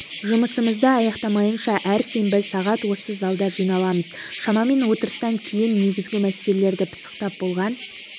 жұмысымызды аяқтамайынша әр сенбі сағат осы залда жиналамыз шамамен отырыстан кейін негізгі мәселелерді пысықтап болған